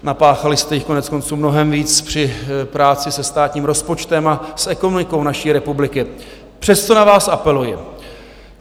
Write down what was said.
Napáchali jste jí koneckonců mnohem víc při práci se státním rozpočtem a s ekonomikou naší republiky, přesto na vás apeluji.